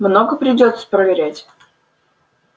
много придётся проверять